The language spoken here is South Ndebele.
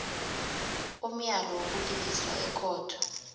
umlayo wokuliliswa ekhotho